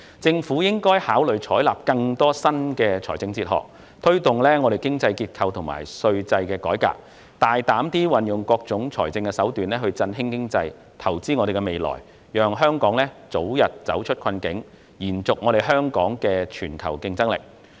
政府應考慮採納更多新的財政哲學，推動經濟結構和稅制改革，大膽運用各種財政手段振興經濟、投資未來，讓香港早日走出困境，並保持其全球競爭力。